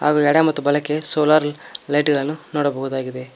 ಹಾಗೂ ಎಡ ಮತ್ತು ಬಲಕ್ಕೆ ಸೋಲಾರ್ ಲೈಟ್ಗಳನ್ನ ನೋಡಬಹುದು.